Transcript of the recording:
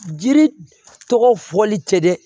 Jiri tɔgɔ fɔli tɛ dɛ